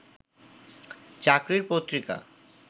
চাকরির পত্রিকা